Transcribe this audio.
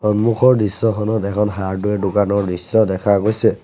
সন্মুখৰ দৃশ্যখনত এখন হাৰ্ডউৱেৰ দোকানৰ দৃশ্য দেখা গৈছে।